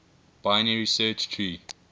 binary search tree